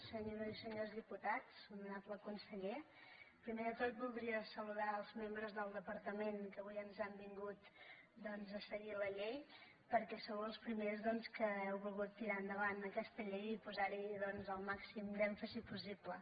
senyores i senyors diputats honorable conseller primer de tot voldria saludar els membres del departament que avui han vingut doncs a seguir la llei perquè sou els primers que heu volgut tirar endavant aquesta llei i posar hi el màxim èmfasi possible